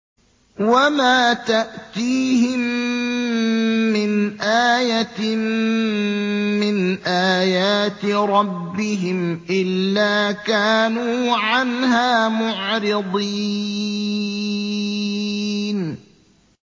وَمَا تَأْتِيهِم مِّنْ آيَةٍ مِّنْ آيَاتِ رَبِّهِمْ إِلَّا كَانُوا عَنْهَا مُعْرِضِينَ